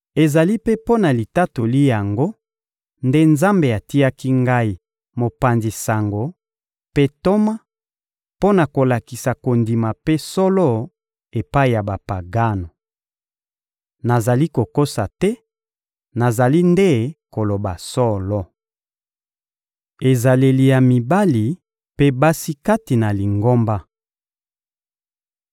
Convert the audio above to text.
Ezali mpe mpo na litatoli yango nde Nzambe atiaki ngai mopanzi sango mpe ntoma, mpo na kolakisa kondima mpe solo epai ya Bapagano. Nazali kokosa te, nazali nde koloba solo. Ezaleli ya mibali mpe basi kati na Lingomba